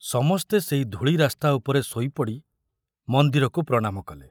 ସମସ୍ତେ ସେଇ ଧୂଳି ରାସ୍ତା ଉପରେ ଶୋଇପଡ଼ି ମନ୍ଦିରକୁ ପ୍ରଣାମ କଲେ।